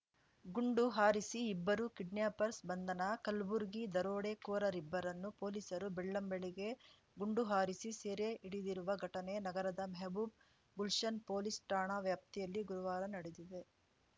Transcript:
ಗುಂಡು ಹಾರಿಸಿ ಇಬ್ಬರು ಕಿಡ್ನಾಪರ್ಸ್‌ ಬಂಧನ ಕಲ್ಬುರ್ಗಿ ದರೋಡೆಕೋರರಿಬ್ಬರನ್ನು ಪೊಲೀಸರು ಬೆಳ್ಳಂಬೆಳಿಗ್ಗೆ ಗುಂಡು ಹಾರಿಸಿ ಸೆರೆ ಹಿಡಿದಿರುವ ಘಟನೆ ನಗರದ ಮೆಹಬೂಬ್‌ ಗುಲ್ಷನ್‌ ಪೊಲೀಸ್‌ ಠಾಣೆ ವ್ಯಾಪ್ತಿಯಲ್ಲಿ ಗುರುವಾರ ನಡೆದಿದೆ